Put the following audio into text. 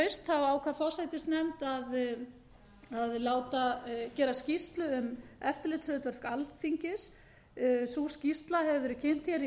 haust ákvað forsætisnefnd að láta gera skýrslu um eftirlitshlutverk alþingis sú skýrsla hefur verið kynnt hér í